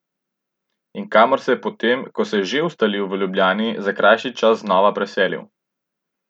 In kamor se je po tem, ko se je že ustalil v Ljubljani, za krajši čas znova preselil.